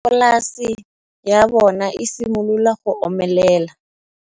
Nokana ya polase ya bona, e simolola go omelela.